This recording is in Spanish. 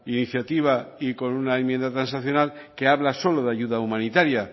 iniciativa y con una enmienda transaccional que habla solo de ayuda humanitaria